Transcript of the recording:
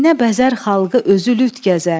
İynə bəzər xalqı, özü lüt gəzər.